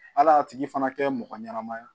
Hali a tigi fana kɛ mɔgɔ ɲɛnama ye